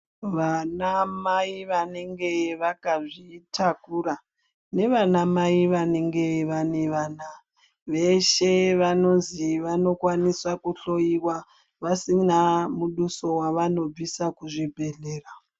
Vanamai vanenge vakazvitakura nevanamai vanenge vane vana , veshe vanozi vanokwanisa kuhloiwa vasina mubuso wavanobvisa kuzvibhedhlera.